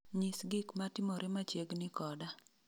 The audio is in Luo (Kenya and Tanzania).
nyis gik matimore machiegni koda